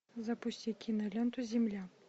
запусти киноленту земля